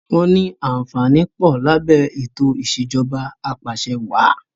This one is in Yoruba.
Wọn ní àǹfààní pọ̀ lábẹ́ ètò ìsèjọba apàṣẹwàà